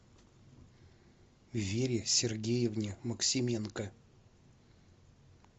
вере сергеевне максименко